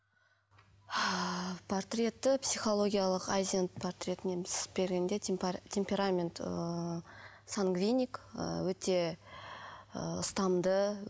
портреті психологиялық айзенг портретін енді сызып бергенде темперамент ыыы сангвиник өте ыыы ұстамды